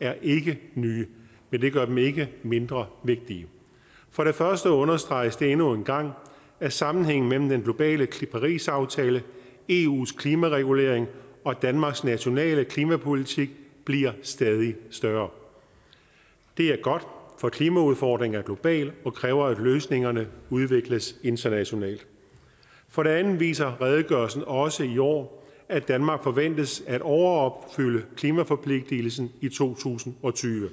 er ikke nye men det gør dem ikke mindre vigtige for det første understreges det endnu en gang at sammenhængen mellem den globale parisaftale eus klimaregulering og danmarks nationale klimapolitik bliver stadig større det er godt for klimaudfordringen er global og kræver at løsningerne udvikles internationalt for det andet viser redegørelsen også i år at danmark forventes at overopfylde klimaforpligtigelsen i to tusind og tyve